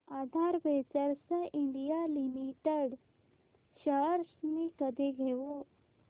आधार ventures India limited shares मी कधी घेऊ